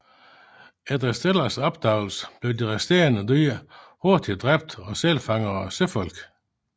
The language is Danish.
Efter Stellers opdagelse blev de resterende dyr hurtigt dræbt af sælfangere og søfolk